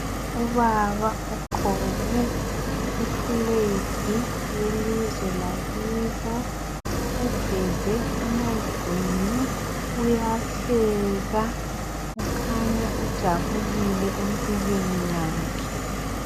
Ubaba ugqoke iflag yelizwe lakibo. Uveze amazinyo, uyahleka. Ukhanya ujabulile empilweni yakhe.